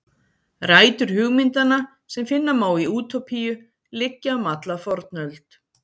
Rætur hugmyndanna sem finna má í Útópíu liggja um alla fornöld.